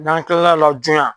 n'an kilala o la jooyan